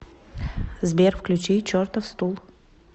сбер включи чертов стул